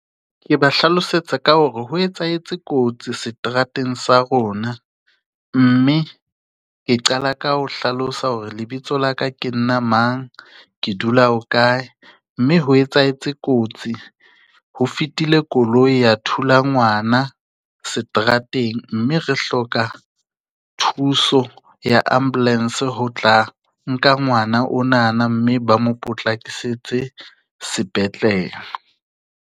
Ke ba hlalosetsa ka hore ho etsahetse kotsi seterateng sa rona mme ke qala ka ho hlalosa hore lebitso la ka ke nna mang, ke dula ho kae mme ho etsahetse kotsi. Ho fetile koloi ya thula ngwana seterateng mme re hloka thuso ya ambulance ho tla nka ngwana o na na mme ba mo potlakisetse sepetlele.